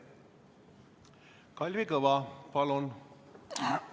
Kalvi Kõva, palun!